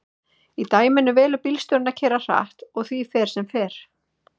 í dæminu velur bílstjórinn að keyra hratt og því fer sem fer